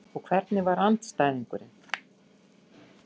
Og hvernig var andstæðingurinn?